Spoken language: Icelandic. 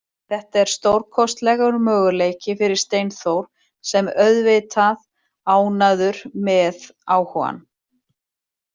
Þetta er stórkostlegur möguleiki fyrir Steinþór sem er auðvitað ánægður með áhugann.